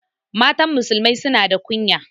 Matan musulmai suna da kunya